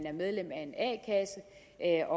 er